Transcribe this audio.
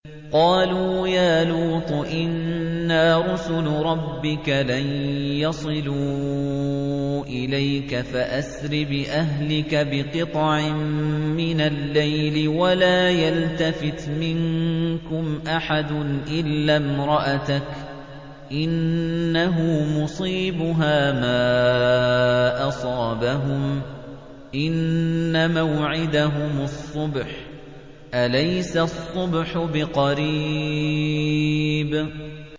قَالُوا يَا لُوطُ إِنَّا رُسُلُ رَبِّكَ لَن يَصِلُوا إِلَيْكَ ۖ فَأَسْرِ بِأَهْلِكَ بِقِطْعٍ مِّنَ اللَّيْلِ وَلَا يَلْتَفِتْ مِنكُمْ أَحَدٌ إِلَّا امْرَأَتَكَ ۖ إِنَّهُ مُصِيبُهَا مَا أَصَابَهُمْ ۚ إِنَّ مَوْعِدَهُمُ الصُّبْحُ ۚ أَلَيْسَ الصُّبْحُ بِقَرِيبٍ